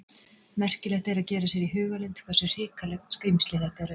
Merkilegt er að gera sér í hugarlund hversu hrikaleg skrímsli þetta eru.